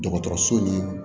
Dɔgɔtɔrɔso ni